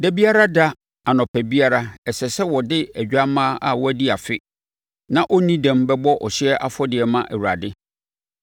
“ ‘Da biara da, anɔpa biara, ɛsɛ sɛ wode odwammaa a wadi afe na ɔnni dɛm bɛbɔ ɔhyeɛ afɔdeɛ ma Awurade.